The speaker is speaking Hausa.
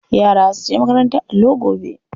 Yara za su je makarantar allo gobe.